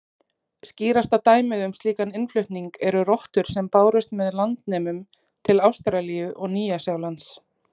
Skýrasta dæmið um slíkan innflutning eru rottur sem bárust með landnemum til Ástralíu og Nýja-Sjálands.